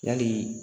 Yali